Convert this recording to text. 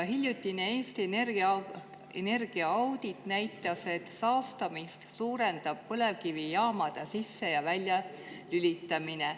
Hiljutine Eesti Energia energiaaudit näitas, et saastamist suurendab põlevkivijaamade sisse‑ ja väljalülitamine.